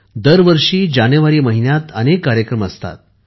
दरवर्षी जानेवारी महिन्यात अनेक कार्यक्रम असतात